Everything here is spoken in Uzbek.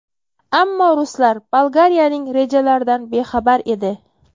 Ammo ruslar Bolgariyaning rejalaridan bexabar edi.